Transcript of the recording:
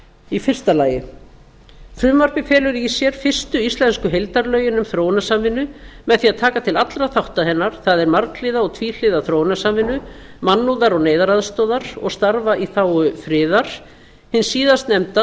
í fyrsta lagi frumvarpið felur í sér fyrstu íslensku heildarlögin um þróunarsamvinnu með því að taka til allra þátta hennar það er marghliða og tvíhliða þróunarsamvinnu mannúðar og neyðaraðstoðar og starfa í þágu friðar hins síðastnefnda